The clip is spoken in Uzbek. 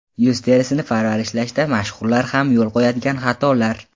Yuz terisini parvarishlashda mashhurlar ham yo‘l qo‘yadigan xatolar.